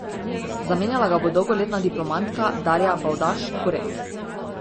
Zamenjala ga bo dolgoletna diplomatka Darja Bavdaž Kuret.